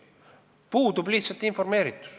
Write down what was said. Puudub lihtsalt informeeritus.